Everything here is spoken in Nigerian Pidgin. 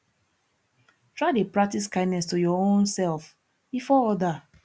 try de practice kindness to your own self before other